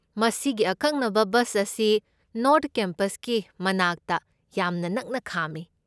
ꯃꯁꯤꯒꯤ ꯑꯀꯛꯅꯕ ꯕꯁ ꯑꯁꯤ ꯅꯣꯔꯊ ꯀꯦꯝꯄꯁꯀꯤ ꯃꯅꯥꯛꯇ ꯌꯥꯝꯅ ꯅꯛꯅ ꯈꯥꯝꯃꯤ꯫